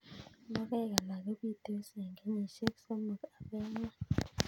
Logoek alak ko pitos eng' kenyishek somok agoi angwan